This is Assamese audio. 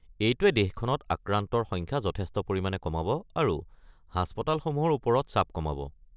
এইটোৱে দেশখনত আক্ৰান্তৰ সংখ্যা যথেষ্ট পৰিমাণে কমাব আৰু হাস্পতালসমূহৰ ওপৰত চাপ কমাব।